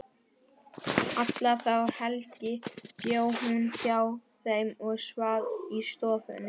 Alla þá helgi bjó hún hjá þeim og svaf í stofunni.